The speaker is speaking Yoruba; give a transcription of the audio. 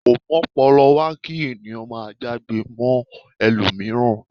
Ko m'ọ́pọlọwá ki ènìyàn máà já'gbe mọ ẹlomiran.